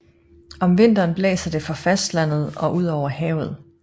Om vinteren blæser det fra fastlandet og ud over havet